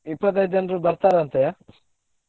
ಇಪ್ಪತೈದ್ ಜನ್ರು ಬರ್ತಾರಂತೆಯಾ?